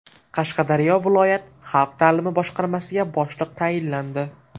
Qashqadaryo viloyat xalq ta’limi boshqarmasiga boshliq tayinlandi.